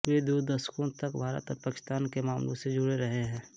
वे दो दशकों तक भारत और पाकिस्तान के मामलों से जुड़े रहे हैं